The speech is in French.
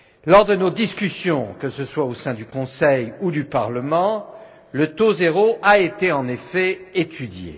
Lors de nos discussions, que ce soit au sein du Conseil ou du Parlement, le taux zéro a été en effet étudié.